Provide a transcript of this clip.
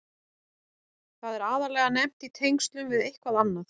Það er aðallega nefnt í tengslum við eitthvað annað.